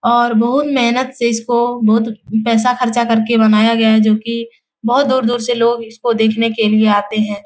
और बहुत मेहनत से इसको बहुत पैसा खर्चा कर के बनाया गया है जो की बहुत दूर-दूर से लोग इसको देखने के लिए आते हैं।